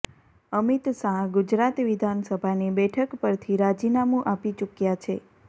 અમિત શાહ ગુજરાત વિધાનસભાની બેઠક પરથી રાજીનામું આપી ચૂક્યા છે